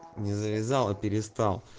не завязал а перестал